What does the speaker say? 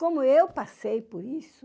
Como eu passei por isso,